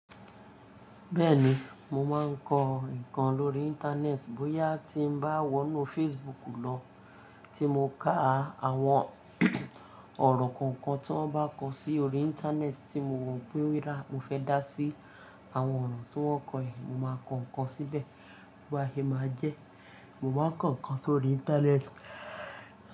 Bẹ́ẹ̀ni, mo wáa ń kọ ǹkan lórí Íńtánẹ́ẹ̀tì bóyá tí mo bá wọnú Facebook lọ tí mo ká àwọn ọ̀rọ̀ kankan tan bá kọ si orí Íńtánẹ́ẹ̀tì tí mo rò pé oda, mo fẹ́ dá sí àwọn ọ̀rọ̀ tí wọ́n kọ, mo máa kọ ǹkan síbẹ̀ bó bá e máa jẹ́. Mo máa ń kọ ǹkan sórí Íńtánẹ́ẹ̀tì.